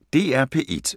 DR P1